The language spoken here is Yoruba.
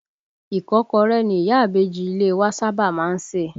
Ìkọ́kọrẹ́ ni ìyá ìbejì ilé e wa sábà máa ń sè